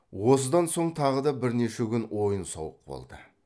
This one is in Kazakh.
осыдан соң тағы да бірнеше күн ойын сауық болды